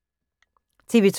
TV 2